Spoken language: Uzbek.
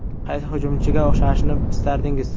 Qaysi hujumchiga o‘xshashni istardingiz?